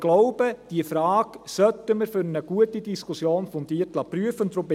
Ich glaube aber, diese Frage sollten wir für eine gute Diskussion fundiert prüfen lassen.